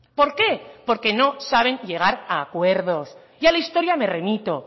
por qué porque no saben llegar a acuerdos y a la historia me remito